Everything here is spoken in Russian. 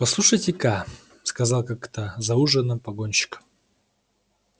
послушайте-ка сказал как-то за ужином погонщик